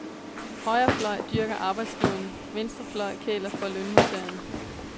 Højre fløj dyrker arbejdsgiverne, venstrefløj kæler for lønmodtagerne.